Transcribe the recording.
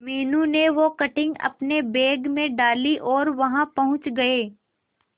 मीनू ने वो कटिंग अपने बैग में डाली और वहां पहुंच गए